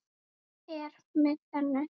Er með henni.